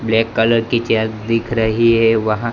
black colour की chair दिख रही है वहां--